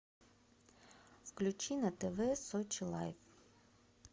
включи на тв сочи лайф